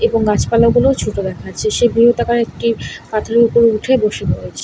এবং মাঝখানের গুলো ছোট দেখাচ্ছে সে বৃহদাকার একটি পাথরের ওপর উঠে বসে পড়েছে।